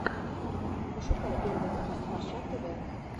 пошукай первый выпуск борща тв